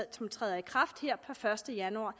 som træder i kraft her per første januar